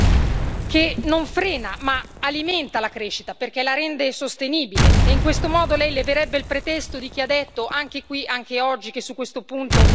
che non frena, ma alimenta la crescita perché la rende sostenibile, e in questo modo Lei leverebbe il pretesto di chi ha detto, anche qui, anche oggi, che su questo punto Lei